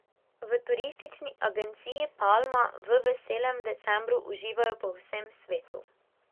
V Turistični agenciji Palma v veselem decembru uživajo po vsem svetu.